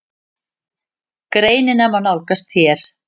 Greinina má nálgast hér.